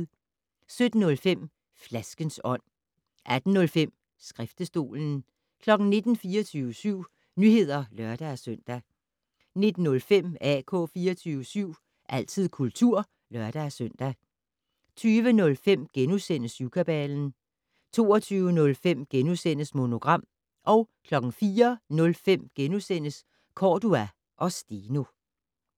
17:05: Flaskens ånd 18:05: Skriftestolen 19:00: 24syv Nyheder (lør-søn) 19:05: AK 24syv - altid kultur (lør-søn) 20:05: Syvkabalen * 22:05: Monogram * 04:05: Cordua & Steno *